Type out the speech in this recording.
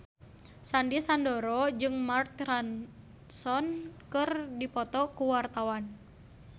Sandy Sandoro jeung Mark Ronson keur dipoto ku wartawan